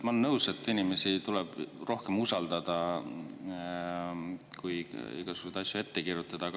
Ma olen nõus, et inimesi tuleb rohkem usaldada, mitte igasuguseid asju ette kirjutada.